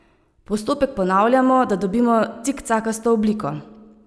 Postopek ponavljamo, da dobimo cikcakasto obliko.